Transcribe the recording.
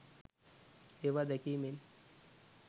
ඒවා දැකීමෙන්